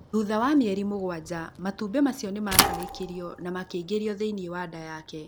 Thutha wa mĩeri mũgwanja, matumbĩ macio nĩ macarĩkithirio na makĩingĩrio thĩinĩ wa nda yake.